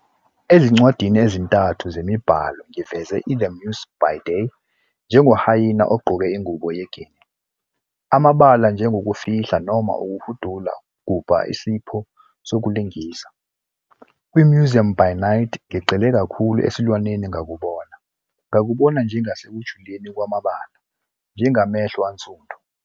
Ezincwadini ezintathu zemibhalo ngiveze i-The Muse by Day njengoHyaena ogqoke ingubo ye-Guinea, amabala njengokufihla noma ukuhudula gubha isipho sokulingisa. Kwi-Museum by Night ngigxile kakhulu esilwaneni ngakubona, ngakubona njengasekujuleni kwamabala njengamehlo ansundu.